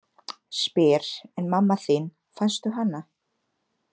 Spyr: En mamma þín, fannstu hana?